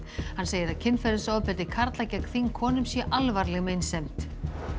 hann segir að kynferðisofbeldi karla gegn þingkonum sé alvarleg meinsemd